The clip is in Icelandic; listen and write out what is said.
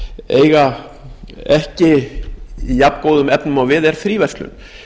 eiga ekki í jafngóðum efnum og við er fríverslun